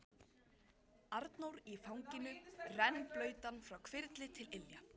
Arnór í fanginu, rennblautan frá hvirfli til ilja.